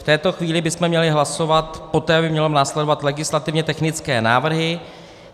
V této chvíli bychom měli hlasovat, poté by měly následovat legislativně technické návrhy.